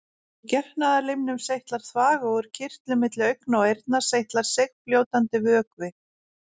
Úr getnaðarlimnum seytlar þvag og úr kirtlum milli augna og eyrna seytlar seigfljótandi vökvi.